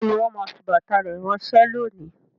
Bẹẹni, wọn máa fi bàtà rẹ ránsẹ́ lónìí